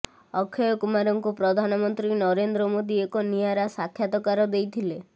ଅକ୍ଷୟ କୁମାରଙ୍କୁ ପ୍ରଧାନମନ୍ତ୍ରୀ ନରେନ୍ଦ୍ର ମୋଦୀ ଏକ ନିଆରା ସାକ୍ଷାତକାର ଦେଇଥିଲେ